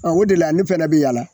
o de la ne fɛnɛ be yaala